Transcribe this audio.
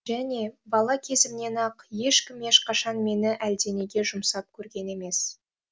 және бала кезімнен ақ ешкім ешқашан мені әлденеге жұмсап көрген емес